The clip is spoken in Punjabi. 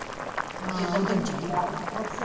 ਆਹੋ ਜਿਦਣ ਤੈਨੂੰ ਚਾਹੀਦਾ।